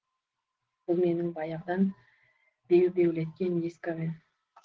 бұл мені баяғыдан бебеулеткен ескі әуен